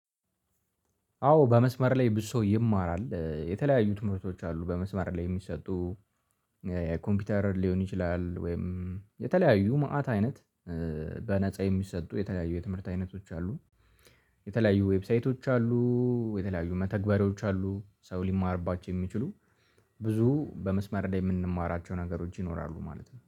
አዎ በመስመር ላይ ብዙ ሰው ይማራል የተለያዩት ትምርቶች አሉ በመስመር ላይ የሚሰጡ የኮምፒውተር ሊሆን ይችላል ወይም የተለያዩ መአት አይነት በነፃ የሚሰጡ የተለያዩ የትምህርት አይነቶች አሉ። የተለያዩ ዌብሳይቶች አሉ። የተለያዩ መተግበሪያዎች አሉ ሰው ሊማርባቸው የሚችሉ ብዙ በመስመር ላይ የምንማራቸው ነገሮች ይኖራሉ ማለት ነው